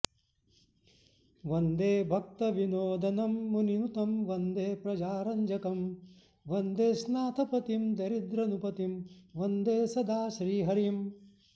वन्दे भक्तविनोदनं मुनिनुतं वन्दे प्रजारञ्जकं वन्देस्नाथपतिं दरिद्रनृपतिं वन्दे सदा श्रीहरिम्